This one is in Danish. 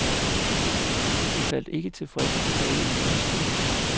De faldt ikke tilfredse tilbage i lænestolene.